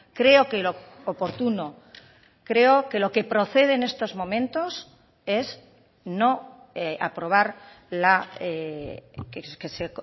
creo que lo oportuno creo que lo que procede en estos momentos es no aprobar que se